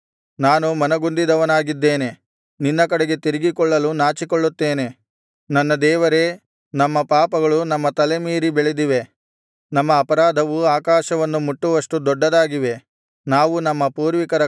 ನನ್ನ ದೇವರೇ ನಾನು ಮನಗುಂದಿದವನಾಗಿದ್ದೇನೆ ನಿನ್ನ ಕಡೆಗೆ ತಿರುಗಿಕೊಳ್ಳಲು ನಾಚಿಕೊಳ್ಳುತ್ತೇನೆ ನನ್ನ ದೇವರೇ ನಮ್ಮ ಪಾಪಗಳು ನಮ್ಮ ತಲೆಮೀರಿ ಬೆಳೆದಿವೆ ನಮ್ಮ ಅಪರಾಧವು ಆಕಾಶವನ್ನು ಮುಟ್ಟುವಷ್ಟು ದೊಡ್ಡದಾಗಿವೆ